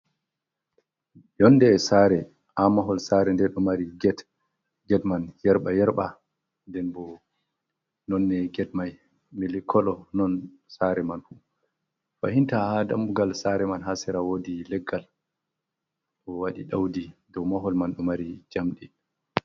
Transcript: Yonde saare, ha mahol sare nde ɗo mari get. Get man yarɓa-yarɓa, nden bo nonde get mai milikolo, non sare man fu. Fahinta ha dammugal sare man ha sera woodi leggal, bo waɗi ɗaudi, Dou mahol man ɗo mari jamdi.